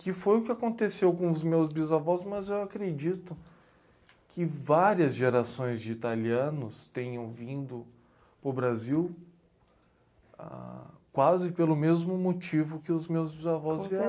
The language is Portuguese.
Que foi o que aconteceu com os meus bisavós, mas eu acredito que várias gerações de italianos tenham vindo para o Brasil, ah... Quase pelo mesmo motivo que os meus bisavós